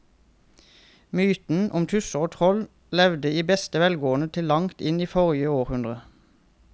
Mytene om tusser og troll levde i beste velgående til langt inn i forrige århundre.